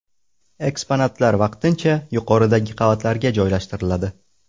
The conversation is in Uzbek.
Eksponatlar vaqtincha yuqoridagi qavatlarga joylashtiriladi.